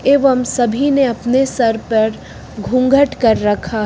एवं सभी ने अपने सर पर घूंघट कर रखा है।